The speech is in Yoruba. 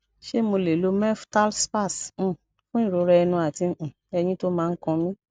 ṣé mo lè lo meftal spas um fún ìrora ẹnu àti um eyín tó ma n kan mi